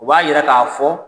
O b'a yira k'a fɔ